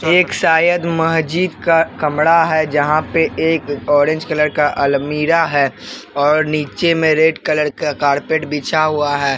ये एक शायद महजीद का कमड़ा है जहाँ पे एक ऑरेंज कलर का अलमीरा है और नीचे में रेड कलर का कारपेट बिछा हुआ है।